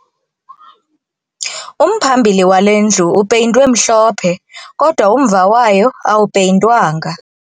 Umphambili wale ndlu upeyintwe mhlophe kodwa umva wayo awupeyintwanga